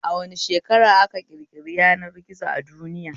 A wane shekara aka ƙirƙiri yanar gizo a duniya?